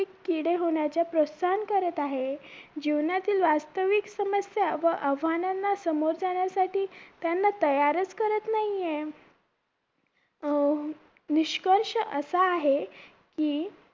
किडे होण्याच्या प्रोसाहन करत आहे जीवनातील वास्तविक समस्या व आव्हानांना समोर जाण्यासाठी त्यांना तयारच करत नाही हे अं निष्कर्ष असा आहे की